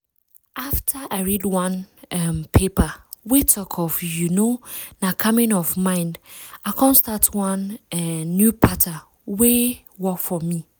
after i read one um paper wey talk of you know na calming of mind i come start one um new pattern wey work for me.